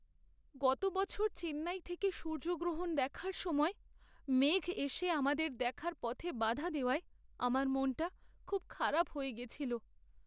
গত বছর চেন্নাই থেকে সূর্যগ্রহণ দেখার সময় মেঘ এসে আমাদের দেখার পথে বাধা দেওয়ায় আমার মনটা খুব খারাপ হয়ে গেছিল।